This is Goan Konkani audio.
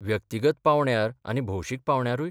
व्यक्तिगत पांवड्यार आनी भौशीक पांवड्यारूय?